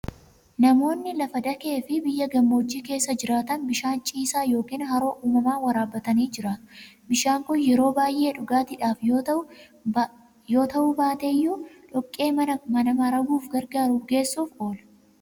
Namoonni lafa dakee fi biyya gammoojjii keessa jiraatan bishaan ciisaa yookiin haroo uumamaa waraabbatanii jiraatu. Bishaan kun yeroo baay'ee dhugaatiidhaaf yoo ta'uu baate iyyuu dhoqqee mana maraguuf gargaaru bukeessuuf oola.